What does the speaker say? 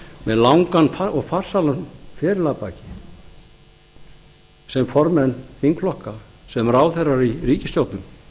með langan og farsælan feril að baki sem formenn þingflokkanna sem ráðherrar í ríkisstjórnum